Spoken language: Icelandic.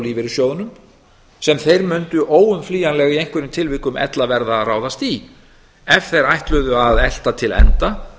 lífeyrissjóðunum sem þeir mundu óumflýjanlega í einhverjum tilvikum ella verða að ráðast í ef þeir ætluðu að elta til enda